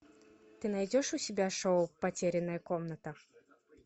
ты найдешь у себя шоу потерянная комната